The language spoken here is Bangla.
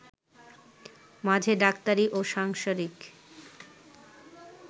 মাঝে ডাক্তারি ও সাংসারিক